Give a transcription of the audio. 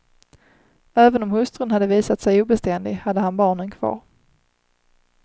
Även om hustrun hade visat sig obeständig hade han barnen kvar.